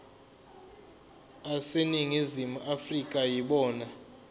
aseningizimu afrika yibona